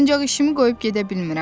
Ancaq işimi qoyub gedə bilmirəm.